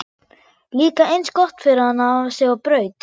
Líka eins gott fyrir hana að hafa sig á braut!